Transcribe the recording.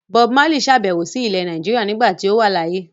Bob Marley sàbẹ̀wò sí ilẹ̀ Nàìjíríà nígbà tí ó wà láyé.